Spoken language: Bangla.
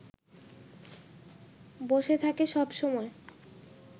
বসে থাকে সব সময়